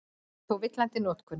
Þetta er þó villandi notkun.